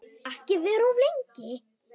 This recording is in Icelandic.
Og ekki vera of lengi.